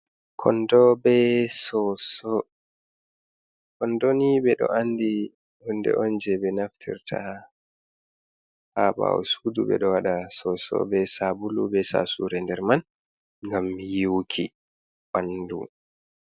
Kondo be Soso, Kondoni ɓe ɗo andi Hunde'on je ɓe Naftirta ha ha ɓawo Sudu, ɓe ɗo Waɗa Soso be Sabulu be Sasure nder man, Ngam Yiwuki Ɓandu.